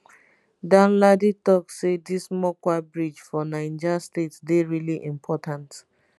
danladi tok say dis mokwa bridge for niger state dey really important